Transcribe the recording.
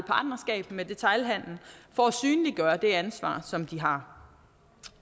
et partnerskab med detailhandelen for at synliggøre det ansvar som de har